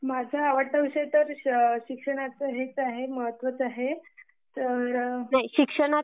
माझा आवडता विषय तर शिक्षणाचं हेच महत्वच आहे.